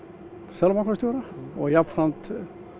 seðlabankastjóra og jafnframt